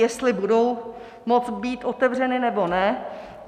Jestli budou moct být otevřeny, nebo ne.